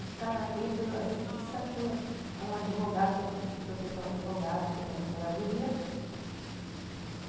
Está entre a justiça com com o advogado, que eu tive processar o advogado, que foi da procuradoria.